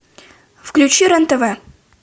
включи рен тв